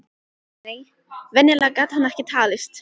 Nei, venjulegur gat hann ekki talist.